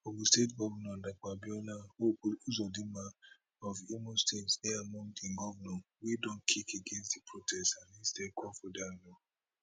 ogun state govnor dapo abiodun hope uzodinma of imo state dey among di govnors wey don kick against di protest and instead call for